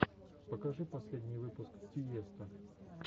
покажи последний выпуск тиесто